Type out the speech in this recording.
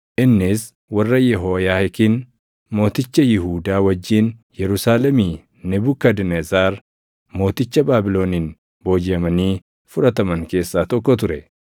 innis warra Yehooyaakiin mooticha Yihuudaa wajjin Yerusaalemii Nebukadnezar mooticha Baabiloniin boojiʼamanii fudhataman keessaa tokko ture.